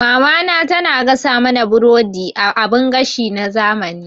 Mamana tana gasa mana burodi a abin gashi na zamani.